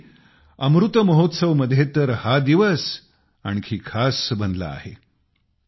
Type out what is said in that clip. यावेळी अमृत महोत्सव मध्ये तर हा दिवस आणखी खास बनला आहे